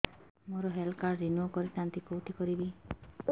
ମୋର health card renew କରିଥାନ୍ତି କୋଉଠି କରିବି